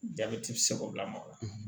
Jabɛti bi se k'o lamaga